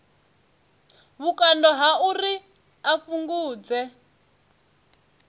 vhukando ha uri a fhungudze